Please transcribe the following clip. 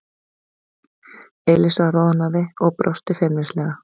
Elísa roðnaði og brosti feimnislega.